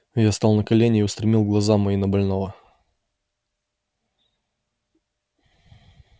я стал на колени и устремил глаза мои на больного